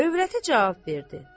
Övrəti cavab verdi: